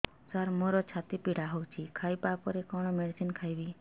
ସାର ମୋର ଛାତି ପୀଡା ହଉଚି ଖାଇବା ପରେ କଣ ମେଡିସିନ ଖାଇବି